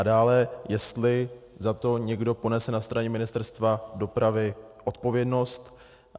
A dále, jestli za to někdo ponese na straně Ministerstva dopravy odpovědnost.